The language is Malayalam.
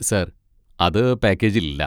സാർ, അത് പാക്കേജിൽ ഇല്ല.